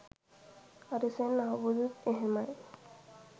අරිසෙන් අහුබුදුත් එහෙමයි